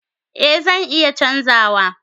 Eh zan iya canza wa.